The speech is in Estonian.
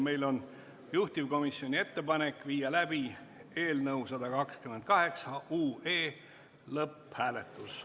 Meil on juhtivkomisjoni ettepanek viia läbi eelnõu 128 lõpphääletus.